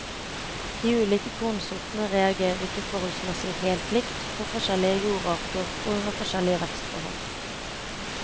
De ulike kornsortene reagerer ikke forholdsmessig helt likt på forskjellige jordarter og under forskjellige vekstforhold.